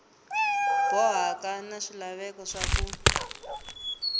bohaka na swilaveko swa ku